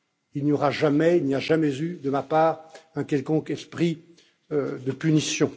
Il n'y aura jamais et il n'y a jamais eu de ma part un quelconque esprit de punition.